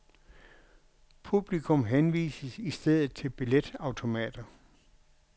Publikum henvises i stedet til billetautomater.